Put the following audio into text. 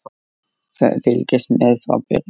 Fylgist með frá byrjun!